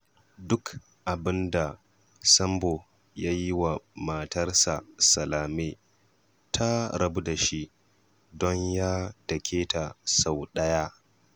Duk abin da Sambo ya yi wa matarsa Salame, ta rabu da shi don ya dake ta sau ɗaya